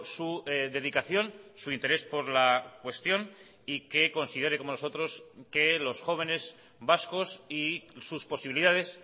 su dedicación su interés por la cuestión y que considere como nosotros que los jóvenes vascos y sus posibilidades